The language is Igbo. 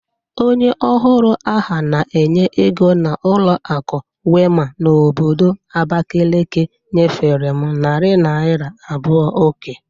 Onye ọhuru aha na-enye ego na ụlọakụ Wema n'obodo Abakeleke nyefere m nari naira abụo oke